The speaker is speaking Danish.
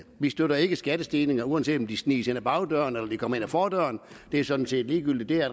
vi støtter ikke skattestigninger uanset om de sniges ind ad bagdøren eller de kommer ind ad fordøren det er sådan set ligegyldigt det er